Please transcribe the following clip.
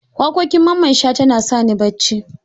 Waƙoƙin Mamman Shata na sani bacci.